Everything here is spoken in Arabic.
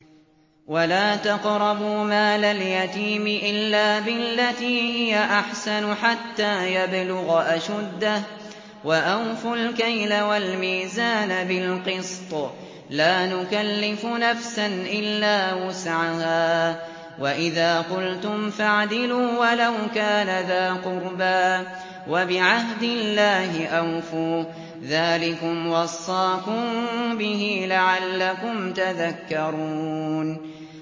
وَلَا تَقْرَبُوا مَالَ الْيَتِيمِ إِلَّا بِالَّتِي هِيَ أَحْسَنُ حَتَّىٰ يَبْلُغَ أَشُدَّهُ ۖ وَأَوْفُوا الْكَيْلَ وَالْمِيزَانَ بِالْقِسْطِ ۖ لَا نُكَلِّفُ نَفْسًا إِلَّا وُسْعَهَا ۖ وَإِذَا قُلْتُمْ فَاعْدِلُوا وَلَوْ كَانَ ذَا قُرْبَىٰ ۖ وَبِعَهْدِ اللَّهِ أَوْفُوا ۚ ذَٰلِكُمْ وَصَّاكُم بِهِ لَعَلَّكُمْ تَذَكَّرُونَ